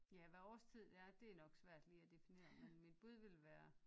Ja hvad årstid det er det er nok svært lige at definere men mit bud ville være